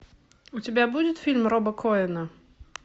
у тебя будет фильм роба коэна